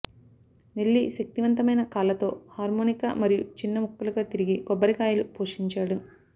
Nelly శక్తివంతమైన కాళ్ళతో harmonica మరియు చిన్న ముక్కలుగా తరిగి కొబ్బరికాయలు పోషించాడు